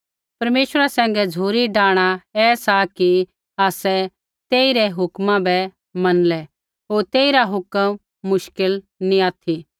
परमेश्वरा सैंघै झ़ुरी डाहणा ऐ सा कि आसै तेइरी हुक्म बै मनलै होर तेइरा हुक्म मुश्किल नैंई ऑथि